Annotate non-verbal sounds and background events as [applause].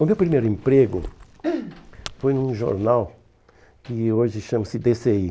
O meu primeiro emprego [coughs] foi num jornal que hoje chama-se dê cê i